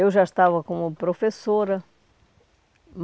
Eu já estava como professora.